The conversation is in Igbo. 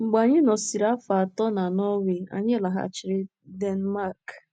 Mgbe anyị nọsịrị afọ atọ na Nọọwee, anyị laghachiri Denmarki.